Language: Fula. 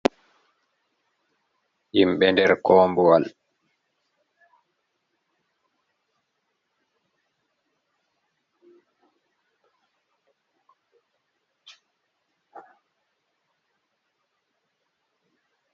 Himɓɓe nder kombuwal.